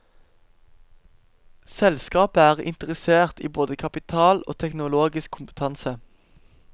Selskapet er interessert i både kapital og teknologisk kompetanse.